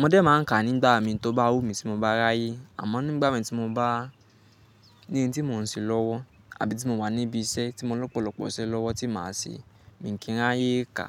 Mo dẹ̀ máa ń kà nígbà mi, tó bá wù mí, tí mo bá ráyé, àmọ́ nígbà mi tí mo bá ní n tí mò ń ṣe lọ́wọ́, àbí tí mo wà níbi iṣẹ́ tí mo lọ́pọ̀lọ́pọ̀ iṣẹ́ lọ́wọ́ tí màá ṣe, mi kìn ráyé ká.